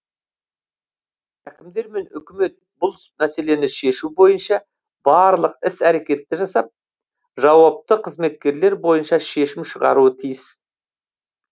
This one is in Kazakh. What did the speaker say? әкімдер мен үкімет бұл мәселені шешу бойынша барлық іс әрекетті жасап жауапты қызметкерлер бойынша шешім шығаруы тиіс